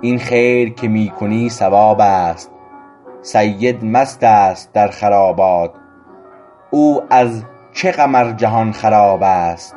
این خیر که می کنی ثواب است سید مست است در خرابات او از چه غم ار جهان خراب است